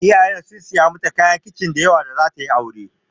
Iyayenta sun saya mata kayan kicin da yawa da zata yi aure.